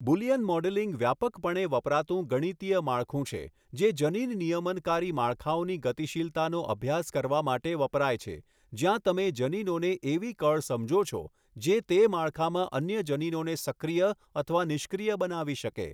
Boolean modelling વ્યાપકપણે વપરાતું ગણિતીય માળખું છે જે જનીન નિયમનકારી માળખાઓની ગતિશીલતાનો અભ્યાસ કરવા માટે વપરાય છે, જ્યાં તમે જનીનોને એવી કળ સમજો છો જે તે માળખામાં અન્ય જનીનોને સક્રિય અથવા નિષ્ક્રિય બનાવી શકે.